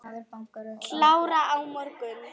Klára á morgun.